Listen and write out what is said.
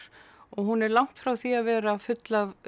og hún er langt frá því að vera full af